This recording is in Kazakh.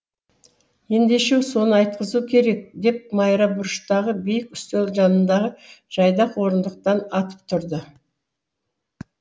ендеше соны айтқызу керек деп майра бұрыштағы биік үстел жанындағы жайдақ орындықтан атып тұрды